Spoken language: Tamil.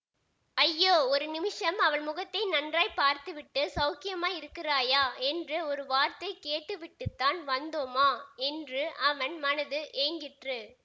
ஐயோ ஒரு நிமிஷம் அவள் முகத்தை நன்றாய் பார்த்துவிட்டு சௌக்கியமாயிருக்கிறாயா என்று ஒரு வார்த்தை கேட்டுவிட்டுத்தான் வந்தோமா என்று அவன் மனது ஏங்கிற்று